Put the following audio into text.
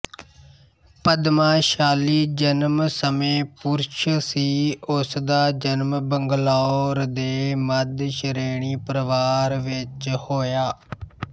ਪਦਮਾਸ਼ਾਲੀ ਜਨਮ ਸਮੇਂ ਪੁਰਸ਼ ਸੀ ਉਸਦਾ ਜਨਮ ਬੰਗਲੌਰ ਦੇ ਮੱਧਸ਼੍ਰੇਣੀ ਪਰਿਵਾਰ ਵਿੱਚ ਹੋਇਆ